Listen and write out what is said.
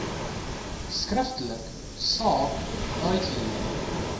skriftelik saak uithuur